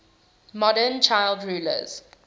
modern child rulers